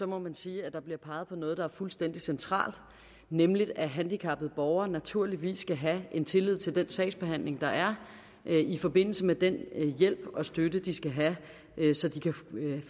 må man sige at der bliver peget på noget der er fuldstændig centralt nemlig at handicappede borgere naturligvis skal have tillid til den sagsbehandling der er i forbindelse med den hjælp og støtte de skal have så de kan